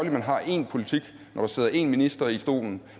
at man har én politik når der sidder én minister i stolen